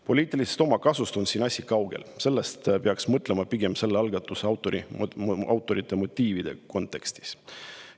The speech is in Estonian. Poliitilisest omakasust on siin asi kaugel, sellest peaks mõtlema pigem selle algatuse autorite motiivide kontekstis.